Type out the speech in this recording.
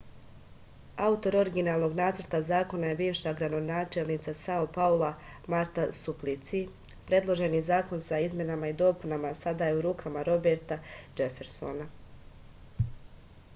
autor originalnog nacrta zakona je bivša gradonačelnica sao paula marta suplici predloženi zakon sa izmenama i dopunama sada je u rukama roberta džefersona